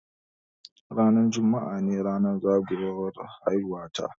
Ranar juma'a ne ranar zagayowar haihuwa ta.